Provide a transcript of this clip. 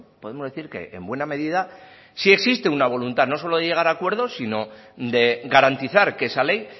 podemos decir que en buena medida sí existe una voluntad no solo de llegar a acuerdos sino de garantizar que esa ley